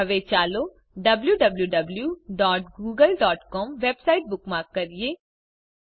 હવે ચાલો W W W dot Google dot C O M website bookmark કરીએ